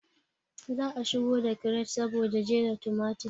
Za a shigo da kiret saboda jera tumatir